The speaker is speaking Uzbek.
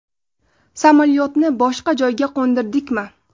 Samolyotni boshqa joyga qo‘ndirdikmi?